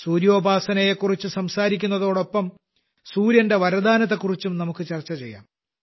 സൂര്യോപാസനയെക്കുറിച്ചു സംസാരിക്കുന്നതോടൊപ്പം സൂര്യന്റെ വരദാനത്തെക്കുറിച്ചും നമുക്ക് ചർച്ച ചെയ്യാം